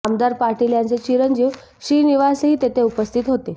आमदार पाटील यांचे चिरंजीव श्रीनिवासही तेथे उपस्थित होते